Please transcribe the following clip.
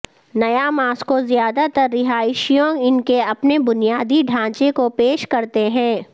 نیا ماسکو زیادہ تر رہائشیوں ان کے اپنے بنیادی ڈھانچے کو پیش کرتے ہیں